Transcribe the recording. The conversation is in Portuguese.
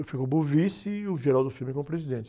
Eu fiquei como vice e o como presidente.